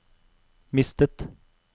mistet